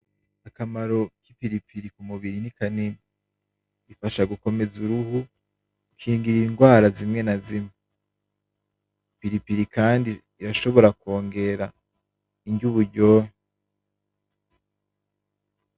Akamaro kipiripiri kumubiri ni kinini, gafasha gakomeza uruhu , gakingira ingwara zimwe na zimwe , agapiripiri Kandi karashobora kongera inrya uburyohe